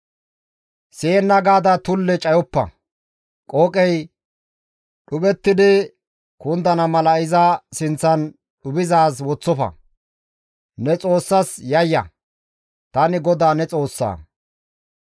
« ‹Siyenna gaada tulle cayoppa; qooqey dhuphettidi kundana mala iza sinththan dhuphizaaz woththofa; ne Xoossas yayya; tani GODAA ne Xoossa.